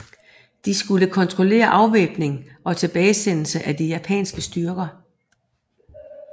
De skulle kontrollere afvæbning og tilbagesendelse af de japanske styrker